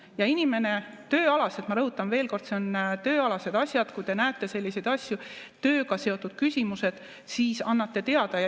Ja inimene tööalaselt – ma rõhutan veel kord, need on tööalased asjad –, kui ta näeb selliseid asju, tööga seotud küsimusi, siis annab teada.